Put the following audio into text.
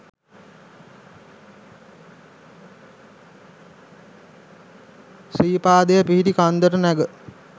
ශ්‍රීපාදය පිහිටි කන්දට නැග